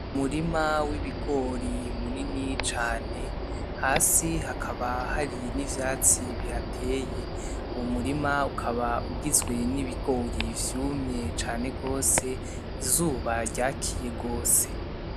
Umurima w'ibigori munini cane hasi hakaba Hari n'ivyatsi bihateye umurima ukaba ugizwe n'ibigori vyumye cane gose izuba ryakiye gose.